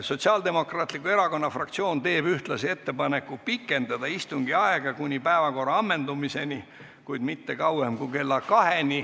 Sotsiaaldemokraatliku Erakonna fraktsioon teeb ühtlasi ettepaneku pikendada istungi aega kuni päevakorra ammendumiseni, kuid mitte kauem kui kella 14-ni.